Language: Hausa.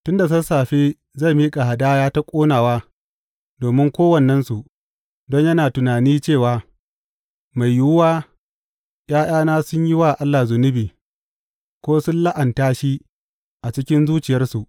Tun da sassafe zai miƙa hadaya ta ƙonawa domin kowannensu, don yana tunani cewa, Mai yiwuwa ’ya’yana sun yi wa Allah zunubi, ko sun la’anta shi a cikin zuciyarsu.